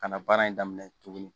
Ka na baara in daminɛ tugunni